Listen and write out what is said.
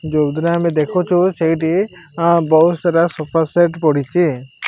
ଯୋଉଥିରେ ଆମେ ଦେଖୁଚୁ ସେଇଠି ଆଁ ବୋହୁତ ସାରା ସୋଫା ସେଟ୍ ପଡ଼ିଚି।